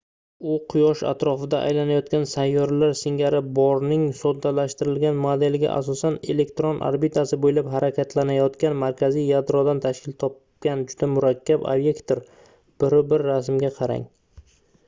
u quyosh atrofida aylanayotgan sayyoralar singari borning soddalashtirilgan modeliga asosan elektron orbitasi boʻylab harakatlanayongan markaziy yadrodan tashkil topgan juda murakkab obyektdir - 1.1-rasmga qarang